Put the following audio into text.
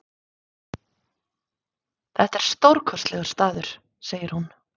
Þetta er stórkostlegur staður, segir hún.